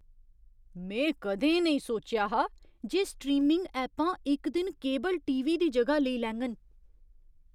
में कदें नेईं सोचेआ हा जे स्ट्रीमिंग ऐपां इक दिन केबल टीवी दी जगह लेई लैङन।